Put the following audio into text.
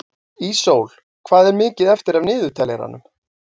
Ísól, hvað er mikið eftir af niðurteljaranum?